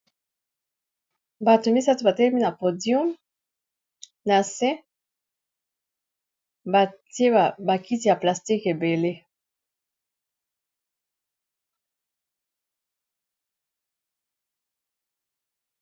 Bato misato batelemi na podium na se batye bakiti ya plastique ebele.